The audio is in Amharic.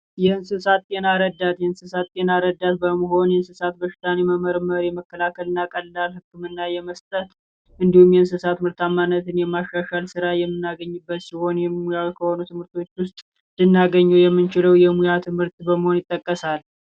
የእንስሳት ጤና ረዳት የእንስሳት ጤና ረዳት በመሆን የእንስሳት በሽታን የመመርመር የመከላከልና ቀላል ህክምና የመስጠት እንዲሁም፤ የእንስሳት ምርታማነትን የማሻሻል ሥራ የምናገኝበት ሲሆን የሙያ ከሆኑ ትምህርት ቤት ውስጥ ልናገኘው የምችለው የሙያ ትምህርት በመሆን ይጠቀሳል።